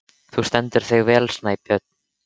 Þú stendur þig vel, Snæbjörn!